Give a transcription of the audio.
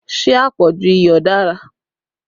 Ṣé àpọ̀jù iyọ̀ dára?